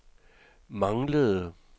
manglede